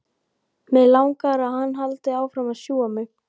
Mig langar að hann haldi áfram að sjúga mig.